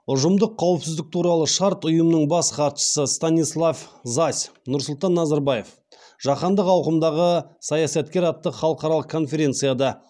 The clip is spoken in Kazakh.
ұжымдық қауіпсіздік туралы шарт ұйымының бас хатшысы станислав зась нұрсұлтан назарбаев жаһандық ауқымдағы саясаткер атты халықаралық конференцияда